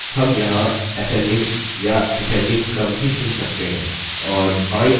हम यहाँ ascending या descending क्रम भी चुन सकते हैं